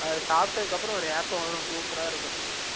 அது சாப்பிட அப்பறம் ஒரு ஏப்பம் வரும் super அ இருக்கும்